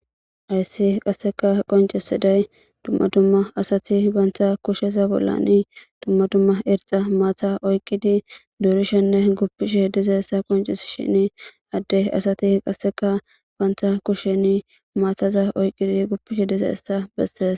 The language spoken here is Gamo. Haysi qaseka qoncisidays dumma dumma asati be kusheza bolla dumma dumma irxa matta oykidi durishenne gufishe dizaysa qoncisishn Ade asati qaseka banta kusheni maataza oykidi gufishe dizaysa besesi.